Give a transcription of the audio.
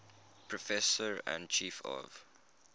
professor and chief of